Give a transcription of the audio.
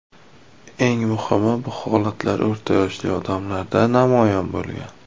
Eng muhimi, bu holatlar o‘rta yoshli odamlarda namoyon bo‘lgan.